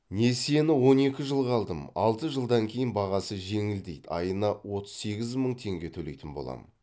несиені он екі жылға алдым алты жылдан кейін бағасы жеңілдейді айына отыз сегіз мың теңге төлейтін боламын